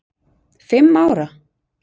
Fimm ára?